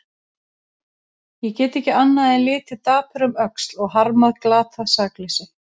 Ég get ekki annað en litið dapur um öxl og harmað glatað sakleysi.